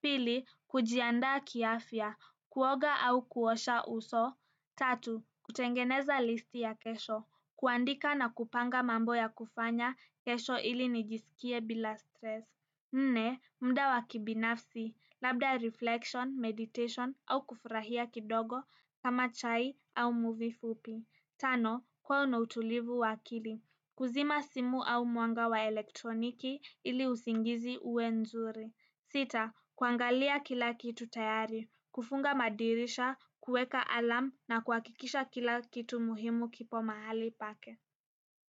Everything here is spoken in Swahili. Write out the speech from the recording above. Pili, kujiandaa kiafya. Kuoga au kuosha uso tatu, kutengeneza listi ya kesho. Kuandika na kupanga mambo ya kufanya kesho ili nijisikie bila stress. Nne, muda wa kibinafsi, labda reflection, meditation au kufurahia kidogo ama chai au movie fupi tano, kuwa na utulivu wa akili, kuzima simu au mwanga wa elektroniki ili usingizi uwe nzuri. Sita, kuangalia kila kitu tayari, kufunga madirisha, kuweka alarm na kuhakikisha kila kitu muhimu kipo mahali pake.